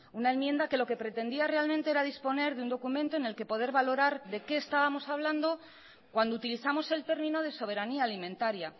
una enmienda que lo que pretendía realmente era disponer de un documento en el que poder valorar de qué estábamos hablando cuando utilizamos el término de soberanía alimentaria